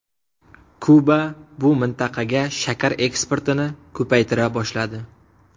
Kuba bu mintaqaga shakar eksportini ko‘paytira boshladi.